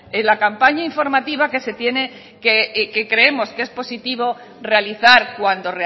de la campaña informativa que se tiene que creemos que es positivo realizar cuando